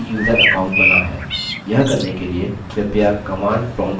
यह करने के लिए कृपया command prompt पर type करिये